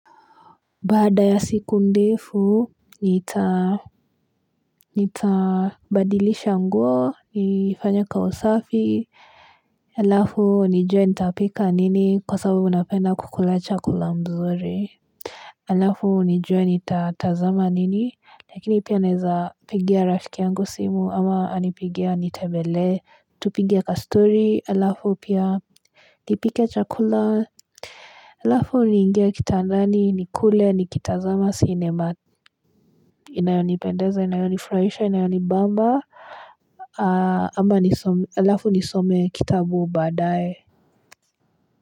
Bada ya siku ndefu nitabadilisha nguo nifanye ka usafi alafu nijue nitapika nini kwa sababu napenda kukula chakula mzuri alafu nijue nitatazama nini lakini pia neza pigia rafiki yangu simu ama anipigie anitebele tupigie ka story alafu pia nipike chakula alafu ningie kitandani nikule nikitazama sinema Inayoni pendeza, inayoni flahisha, inayoni bamba ama alafu nisome kitabu badae.